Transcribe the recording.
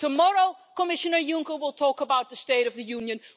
Tomorrow Commissioner Juncker will talk about the State of the Union.